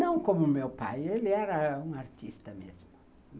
Não como o meu pai, ele era um artista mesmo.